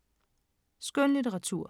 Skønlitteratur